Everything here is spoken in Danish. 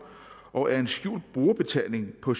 og er en skjult brugerbetaling på